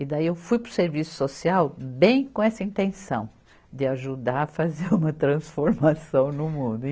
E daí eu fui para o serviço social bem com essa intenção, de ajudar a fazer uma transformação no mundo.